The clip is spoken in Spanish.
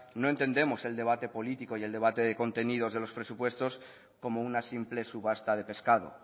no entendemos el debate político y el debate de contenido de los presupuestos como una simple subasta de pescado